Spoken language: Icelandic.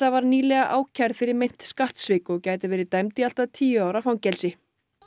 var nýlega ákærð fyrir meint skattsvik og gæti verið dæmd í allt að tíu ára fangelsi